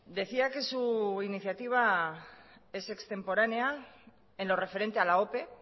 decía que su iniciativa es extemporánea en lo referente a la ope